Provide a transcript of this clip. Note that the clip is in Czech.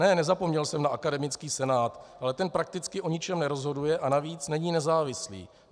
Ne, nezapomněl jsem na akademický senát, ale ten prakticky o ničem nerozhoduje a navíc není nezávislý.